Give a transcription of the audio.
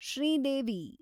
Sridevi